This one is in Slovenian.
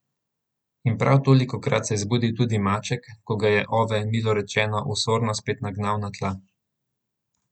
In prav tolikokrat se je zbudil tudi maček, ko ga je Ove milo rečeno osorno spet nagnal na tla.